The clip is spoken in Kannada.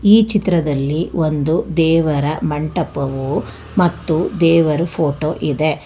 ಈ ಚಿತ್ರದಲ್ಲಿ ಒಂದು ದೇವರ ಮಂಟಪವು ಮತ್ತು ದೇವರು ಫೋಟೋ ಇದೆ.